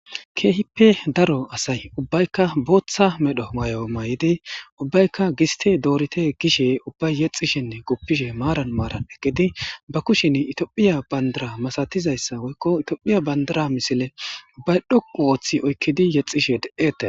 Keehippe daro asay ubbaykka booththa medho may7o may7idi ubbaykka gisti doorite gishe ubbay yexxishenne guppishe maaran maaran eggidi ba kushin itophiya bandara masatizayssa woykko itophiya bandara misile bay dhou ooththi oykkidi yexxishe de7ete.